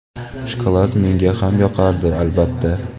Shokolad menga ham yoqardi, albatta.